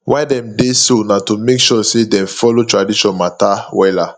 why dem dey do so na to make sure say dem follow tradition mata wella